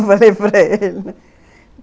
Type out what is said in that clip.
Eu falei para ele